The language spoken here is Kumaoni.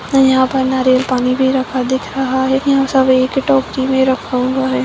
यहाँँ पर नारियल पानी भी रखा दिख रहा है। यहाँँ सब एक टोकरी में रखा हुवा है।